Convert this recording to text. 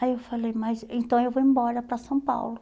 Aí eu falei, mas então eu vou embora para São Paulo.